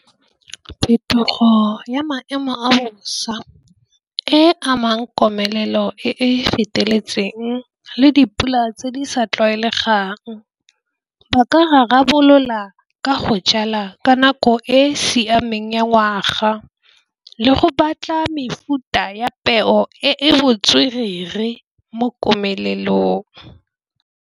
Phetogo ya maemo a bosa e amang komelelo e feteletseng le dipula tse di sa tlwaelegang. Ba ka a rarabolola ka go jala ka nako e e siameng ya ngwaga le go batla mefuta ya peo e botswerere mo komelelong.